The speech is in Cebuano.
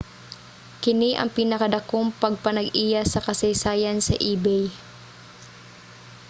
kini ang pinadakong pagpanag-iya sa kasaysayan sa ebay